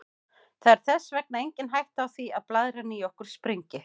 Það er þess vegna engin hætta á því að blaðran í okkur springi.